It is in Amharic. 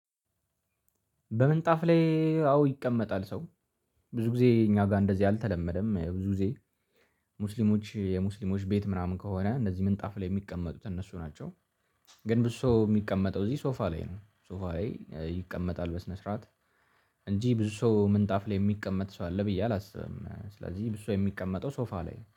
በምንጣፍ ላይ አዎ ይቀመጣል ሰው ብዙ ጊዜ እኛ ጋር እንደዚህ አልተለመደም ብዙ ጊዜ። ሙስሊሞች የሙስሊሞች ቤት ምናምን ከሆነ እንደዚህ ምንጣፍ ላይ የሚቀመጡት እነሱ ናቸው። ግን ብዙ ሰው የሚቀመጠው እዚህ ሶፋ ላይ ነው ሶፋ ላይ ይቀመጣል በስነ ስርዓት። እንጂ ብዙ ሰው ምንጣፍ ላይ የሚቀመጥ ሰው አለ ብዬ አላስብም። ስለዚህ ብዙ ሰው የሚቀመጠው ሶፋ ላይ